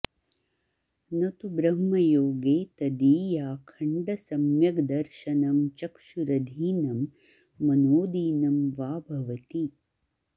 न तु ब्रह्मयोगे तदीयाखण्डसम्यग्दर्शनं चक्षुरधीनं मनोऽदीनं वा भवति